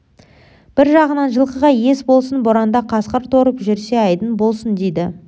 бір жағынан жылқыға ес болсын боранда қасқыр торып жүрсе айдын болсын дейді